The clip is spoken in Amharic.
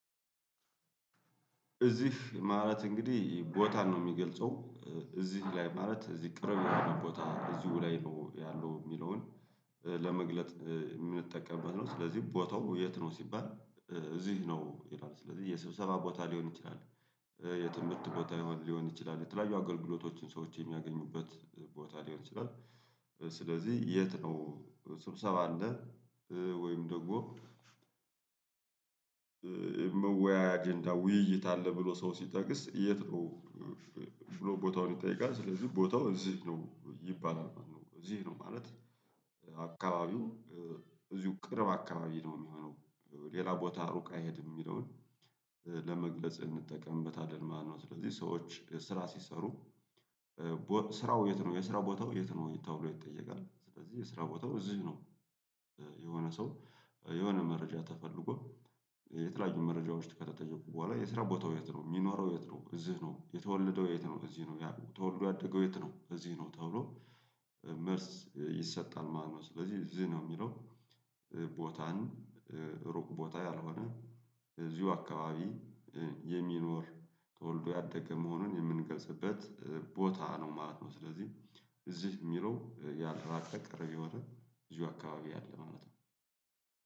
እዚህ ማለት እንግዲህ ቦታን ነው የሚገልጸው። እዚህ ላይ ማለት እዚህ ቅርብ የሆነ ቦታ እዚሁ ላይ ነው ያለው የሚለውን። ለመግለጥ የምንጠቀምበት ነው ስለዚህ ቦታው የት ነው ሲባል? እዚህ ነው ይላል ስለዚህ የስብሰባ ቦታ ሊሆን ይችላል። የትምህርት ቦታ ሊሆን ይችላል የተለያዩ አገልግሎቶችን ሰዎች የሚያገኙበት ቦታ ሊሆን ይችላል። ስለዚህ የት ነው? ስብሰባ አለ። ወይም ደግሞ የመወያያ አጀንዳ ውይይት አለ ብሎ ሰው ሲጠጥስ የት ነው? ብሎ ቦታውን ይጠይቃል ስለዚህ ቦታው እዚህ ነው ይባላል ማለት ነው። እዚህ ነው ማለት። አካባቢው እዚሁ ቅርብ አካባቢ ነው የሚሆነው። ሌላ ቦታ ሩቅ አይሄድም የሚለውን ለመግለጽ እንጠቀምበታለን ማለት ነው። ስለዚህ ሰዎች ስራ ሲሰሩ ስራው የት ነው የስራ ቦታው የት ነው ተብሎ ይጠየቃል። ስለዚህ የስራ ቦታው እዚህ ነው። የሆነ ሰው የሆነ መረጃ ተፈልጎ የተለያዩ መረጃዎች ከተተጠየቁ በኋላ የስራ ቦታው የት ነው የሚኖረው የት ነው እዚህ ነው። የተወለደው የት ነው እዚህ ነው። ተወልዶ ያደገው የት ነው እዚህ ነው። ተብሎ መልስ ይሰጣል ማለት ነው። ስለዚህ እዚህ ነው የሚለው ቦታን ሩቅ ቦታ ያልሆነ እዚሁ አካባቢ የሚኖር ተወልዶ ያደገ መሆኑን የምንገልጽበት ቦታ ነው ማለት ነው። ስለዚህ እዚህ የሚለው ያልራቀ ቅርብ የሆነ እዚሁ አካባቢ ያለ ማለት ነው